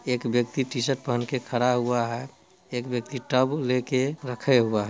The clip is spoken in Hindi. एक व्यक्ति टीशर्ट पहन के खड़ा हुआ है। एक व्यक्ति टब लेके रखे हुआ है।